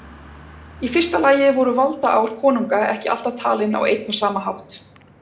Í fyrsta lagi voru valdaár konunga ekki alltaf talin á einn og sama hátt.